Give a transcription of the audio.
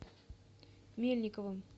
мельниковым